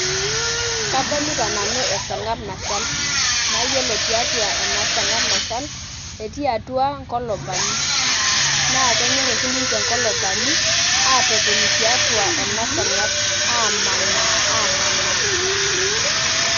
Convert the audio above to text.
Kadolita nanu esarngab nashal naa iyiolo tiatua ena sarngab nashal etii atua inkulupani, naa kenyor oshi ninje inkulupani atotoni tiatua ena sarngab, amanaa amanaa.